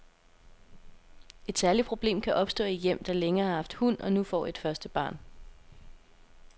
Et særligt problem kan opstå i hjem, der længe har haft hund og nu får et første barn.